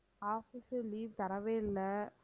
office ல leave தரவே இல்லை